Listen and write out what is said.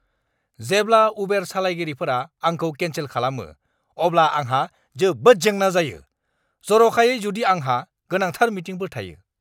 जेब्ला उबेर सालायगिरिफोरा आंखौ केन्सेल खालामो, अब्ला आंहा जोबोद जेंना जायो, जर'खायै जुदि आंहा गोनांथार मिटिंफोर थायो!